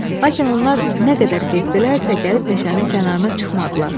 Lakin onlar nə qədər getdilərsə, gəlib meşənin kənarına çıxmadılar.